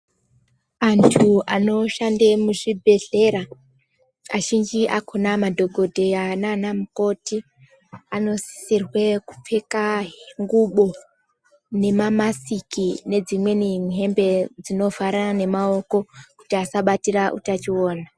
Antu anoshande muzvibhedhlera azhinji akona madhokodheya nana mukoti anosisirwe kupfeka ngubo nemamasiki nedzimweni hembe dzinovharira maoko kuti asabatira utachiona.